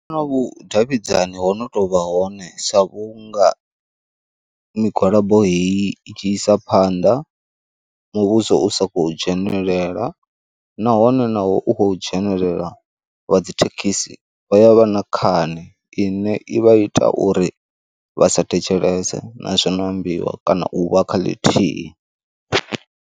Ndono vhudavhidzani ho no tou vha hone sa vhunga migwalabo heyi i tshi isa phanḓa muvhuso u sa khou dzhenelela, nahone na u u khou dzhenelela wa dzithekhisi vha ya vha na khani ine i vha i ita uri vhasa thetshelese na zwino ambiwa kana u vha kha ḽithihi.